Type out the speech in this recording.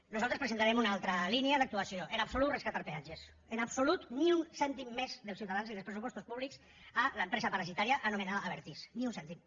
nosaltres presentarem una altra línia d’actuació en absolut rescatar peatges en absolut ni un cèntim més dels ciutadans i dels pressupostos públics a l’empresa parasitària anomenada abertis ni un cèntim